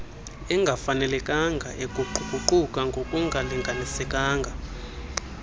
engafanelekanga eguquguquka ngokungalindelekanga